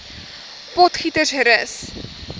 potgietersrus